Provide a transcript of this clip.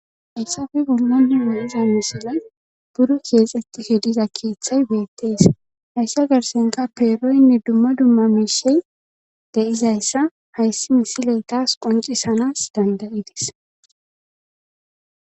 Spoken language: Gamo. haysafe bolla ta beyiza misilen dumma dumma iza misiley buru keexeti he diza keeththay beettees hayssi garsenka peeroynne dumma dumma miishey deizayssa hayssi misiley taas qoncisanas dandayidis